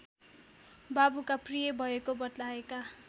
बाबुका प्रिय भएको बताएका